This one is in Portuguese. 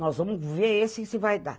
Nós vamos ver esse e se vai dar.